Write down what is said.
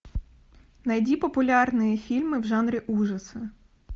найди популярные фильмы в жанре ужасы